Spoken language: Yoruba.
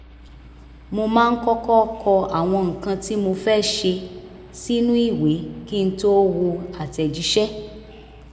mo máa ń kọ́kọ́ kọ àwọn nǹkan tí mo fẹ́ ṣe sínú ìwé kí n tó wo àtẹ̀jíṣẹ́